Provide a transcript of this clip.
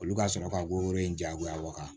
Olu ka sɔrɔ ka woro in jagoya wa